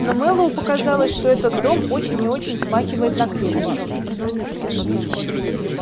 но мэллоу показалось что этот дом очень и очень смахивает на крепость